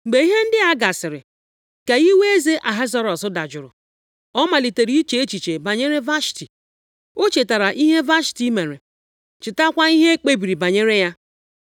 Mgbe ihe ndị a gasịrị, ka iwe eze Ahasuerọs dajụrụ, ọ malitere iche echiche banyere Vashti. O chetara ihe Vashti mere, chetakwa ihe e kpebiri banyere ya.